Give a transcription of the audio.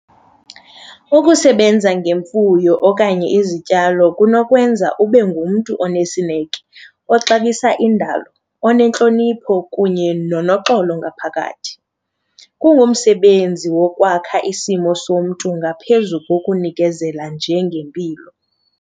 Ukusebenza ngemfuyo okanye izityalo kunokwenza ube ngumntu onesineke, oxabisa indalo, onentlonipho kunye nonoxolo ngaphakathi. Kungumsebenzi wokwakha isimo somntu ngaphezu kokunikezela nje ngempilo.